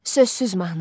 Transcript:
Sözsüz mahnı.